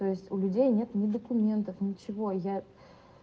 то есть у людей нет ни документов ничего я